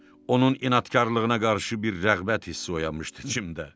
Onun inadkarlığına qarşı bir rəğbət hissi oyanmışdı içimdə.